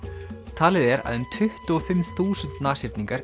talið er að um tuttugu og fimm þúsund